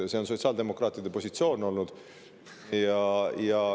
See on sotsiaaldemokraatide positsioon olnud.